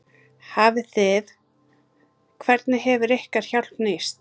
Hafið þið, hvernig hefur ykkar hjálp nýst?